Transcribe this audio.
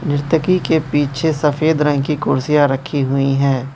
नृत्यकी के पीछे सफेद रंग की कुर्सियां रखी हुई हैं।